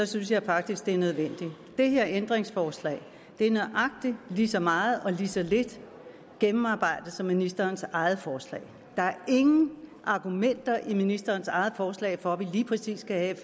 synes jeg faktisk det er nødvendigt det her ændringsforslag er nøjagtig lige så meget eller lige så lidt gennemarbejdet som ministerens eget forslag der er ingen argumenter i ministerens eget forslag for at vi lige præcis skal have et